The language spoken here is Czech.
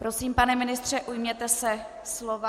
Prosím, pane ministře, ujměte se slova.